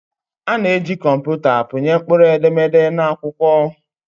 A na-eji kọmputa pịnye mkpụrụedemede na akwụkwọ.